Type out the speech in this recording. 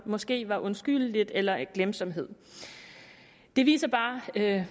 måske var undskyldeligt eller af glemsomhed det viser bare